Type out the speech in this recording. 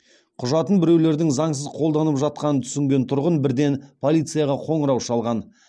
құжатын біреулердің заңсыз қолданып жатқанын түсінген тұрғын бірден полицияға қоңырау шалған